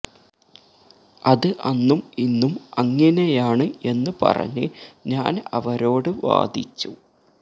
അത് അന്നും ഇന്നും അങ്ങിനെയാണ് എന്ന് പറഞ്ഞ് ഞാന് അവരോട് വാദിച്ചു